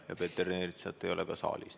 Ja Peeter Ernitsat ei ole ka saalis.